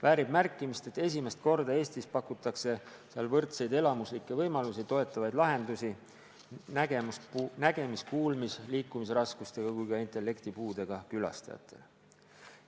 Väärib märkimist, et esimest korda Eestis pakutakse seal võrdseid elamuslikke võimalusi toetavaid lahendusi ka nägemis-, kuulmis- ja liikumisraskustega, samuti intellektipuudega külastajatele.